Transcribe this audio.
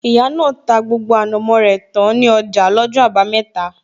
Ìyá náà ta gbogbo ànàmó rẹ tán ní ọjà lọ́jọ́ abameta